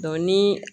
ni